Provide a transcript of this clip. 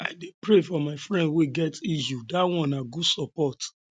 i dey pray for my friends wey get issues dat one na good support